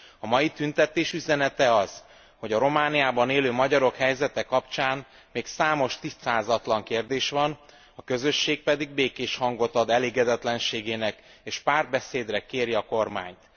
A mai tüntetés üzenete az, hogy a Romániában élő magyarok helyzete kapcsán még számos tisztázatlan kérdés van, a közösség pedig békésen hangot ad elégedetlenségének és párbeszédre kéri a kormányt.